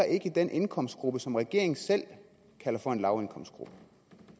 i den indkomstgruppe som regeringen selv kalder for en lavindkomstgruppe